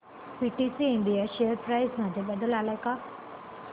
PTC India share price मध्ये बदल आलाय का